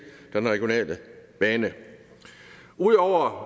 den regionale bane udover